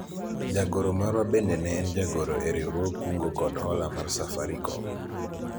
jagoro marwa bende ne en jagoro e riwruog kungo kod hola mar Safarikom